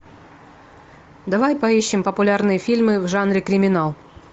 давай поищем популярные фильмы в жанре криминал